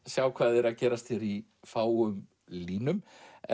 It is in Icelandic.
sjá hvað er að gerast í fáum línum